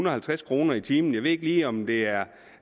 og halvtreds kroner i timen jeg ved ikke lige om det er